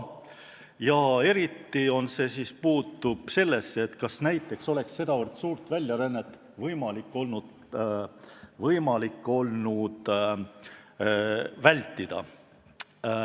Eriti on küsimus, kas oleks olnud võimalik nii suurt väljarännet vältida.